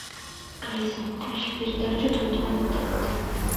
алиса включи передачу дом два на тнт